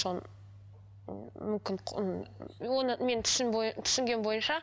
соны м мүмкін оны мен түсінгенім бойынша